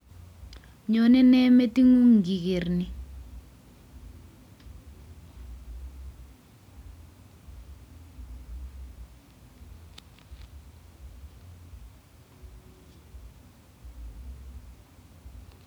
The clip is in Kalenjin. Nyonei nee meting'ung ngiker ni